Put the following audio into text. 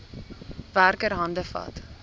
werker hande vat